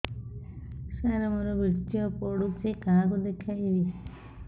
ସାର ମୋର ବୀର୍ଯ୍ୟ ପଢ଼ୁଛି କାହାକୁ ଦେଖେଇବି